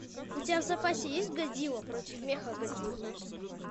у тебя в запасе есть годзилла против мехагодзилл